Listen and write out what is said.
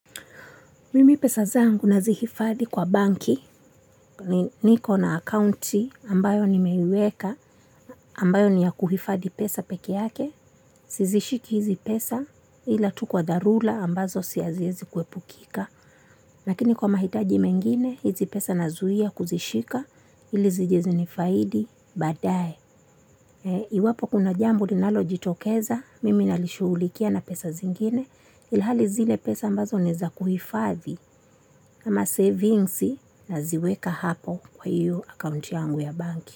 Mimi pesa zangu nazihifadhi kwa benki niko na akaunti ambayo nimeweka ambayo ni ya kuhifadhi pesa pekee yake. Sizishiki hizi pesa ila tu kwa dharula ambazo haziwezi kuepukika. Lakini kwa mahitaji mengine hizi pesa nazuia kuzishika ili zije zinifaidishe badae. Iwapo kuna jambo ninalojitokeza mimi nalishughulikia na pesa zingine ilihali zile pesa ambazo ni za kuhifadhi. Kama savings naziweka hapo kwa iyo account yangu ya benki.